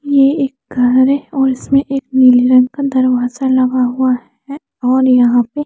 ये एक घर है और इसमें एक नीली रंग का दरवाज़ा लगा हुआ है और यहाँ पे--